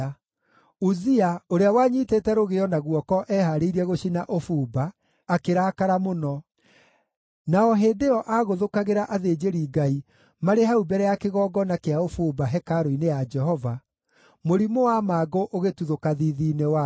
Uzia, ũrĩa wanyiitĩte rũgĩo na guoko ehaarĩirie gũcina ũbumba, akĩrakara mũno. Na o hĩndĩ ĩyo aagũthũkagĩra athĩnjĩri-Ngai marĩ hau mbere ya kĩgongona kĩa ũbumba, hekarũ-inĩ ya Jehova, mũrimũ wa mangũ ũgĩtuthũka thiithi-inĩ wake.